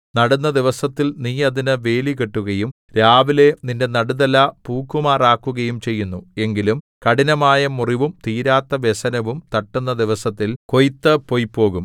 നടുന്ന ദിവസത്തിൽ നീ അതിന് വേലി കെട്ടുകയും രാവിലെ നിന്റെ നടുതല പൂക്കുമാറാക്കുകയും ചെയ്യുന്നു എങ്കിലും കഠിനമായ മുറിവും തീരാത്ത വ്യസനവും തട്ടുന്ന ദിവസത്തിൽ കൊയ്ത്ത് പൊയ്പോകും